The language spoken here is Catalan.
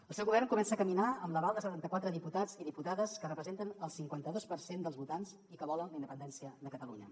el seu govern comença a caminar amb l’aval de setanta quatre diputats i diputades que representen el cinquanta dos per cent dels votants i que volen la independència de catalunya